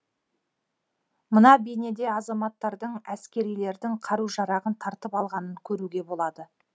мына бейнеде азаматтардың әскерилердің қару жарағын тартып алғанын көруге болады